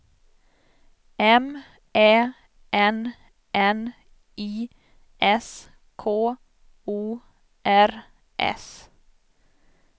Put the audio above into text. M Ä N N I S K O R S